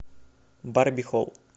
барби холл